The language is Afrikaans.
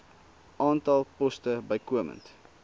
aantal poste bykomend